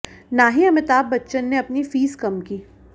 ना ही अमिताभ बच्चन ने अपनी फीस कम की